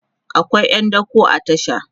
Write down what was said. akwai ƴan dako a tasha